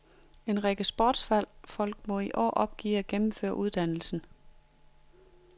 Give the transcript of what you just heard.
En række sportsfolk må i år opgive at gennemføre uddannelsen.